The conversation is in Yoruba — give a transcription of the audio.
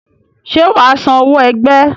Ṣé wà á san owó ẹgbẹ́?